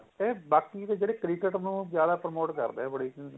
ਤੇ ਬਾਕੀ ਦੇ ਜਿਹੜੇ cricket ਨੂੰ ਜਿਆਦਾ permit ਕਰਦੇ ਏ ਬੜੀ ਚ